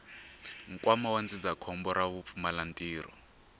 nkwama wa ndzindzakhombo ra vupfumalantirho